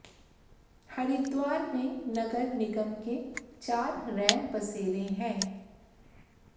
हरिद्वार में नगर निगम के चार रैन बसेरे हैं